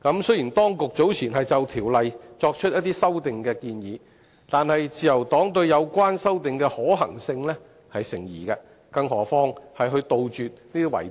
雖然，當局早前曾就《條例》作出修訂建議，但自由黨認為有關修訂的可行性成疑，更遑論有效杜絕圍標。